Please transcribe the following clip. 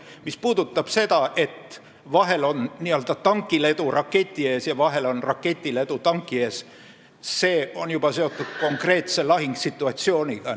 Mis puudutab seda, et vahel on tankil edu raketi ees ja vahel on raketil edu tanki ees, siis see on juba seotud konkreetse lahingusituatsiooniga.